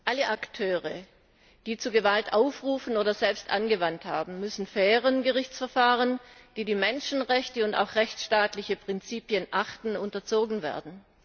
Alle Akteure, die zu Gewalt aufrufen oder Gewalt selbst angewandt haben, müssen fairen Gerichtsverfahren, die die Menschenrechte und auch rechtsstaatliche Prinzipien achten, unterzogen werden.